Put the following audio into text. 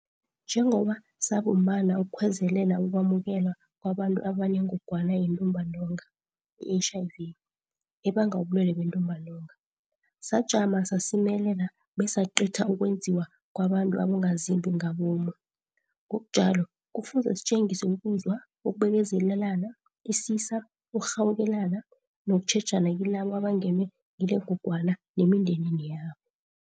Njengoba sabumbana ukukhwezelela ukwamukeleka kwabantu abaneNgogwana yeNtumbantonga, i-HIV, ebanga ubulwele beNtumbantonga, sajama sasimelela besacitha ukwenziwa kwabantu abongazimbi ngabomu, ngokunjalo kufuze sitjengise ukuzwa, ukubekezelelana, isisa, ukurhawukelana nokutjhejana kilabo abangenwe ngilengogwana nemindenini yabo.